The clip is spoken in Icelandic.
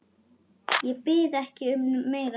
Ég bið ekki um meira.